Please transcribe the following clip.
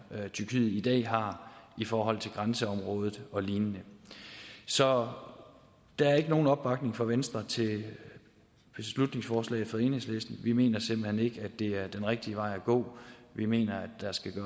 tyrkiet i dag har i forhold til grænseområdet og lignende så der er ikke nogen opbakning fra venstre til beslutningsforslaget fra enhedslisten vi mener simpelt hen ikke at det er den rigtige vej at gå vi mener at der skal